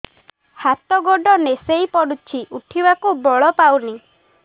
ହାତ ଗୋଡ ନିସେଇ ପଡୁଛି ଉଠିବାକୁ ବଳ ପାଉନି